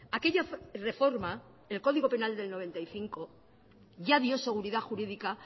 aquella reforma del código penal de mil novecientos noventa y cinco ya dio seguridad jurídica